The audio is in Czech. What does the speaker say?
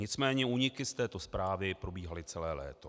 Nicméně úniky z této zprávy probíhaly celé léto.